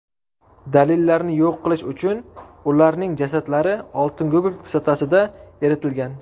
Dalillarni yo‘q qilish uchun ularning jasadlari oltingugurt kislotasida eritilgan.